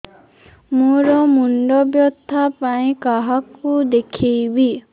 ମୋର ମୁଣ୍ଡ ବ୍ୟଥା ପାଇଁ କାହାକୁ ଦେଖେଇବି